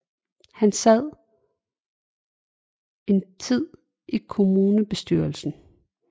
Han sad en tid i kommunebestyrelsen